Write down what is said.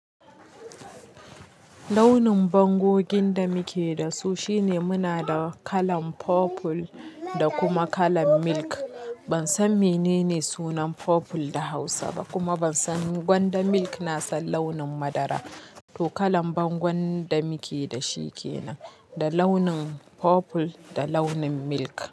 Launin bangogin da muke da su shine muna da kalan purple da kuma kalan milk. Ban san menene sunan purple da Hausa ba kuma ban san gwanda milk na san launin madara. To kalan bangon da muke da shi kenan, da launin purple da launin milk.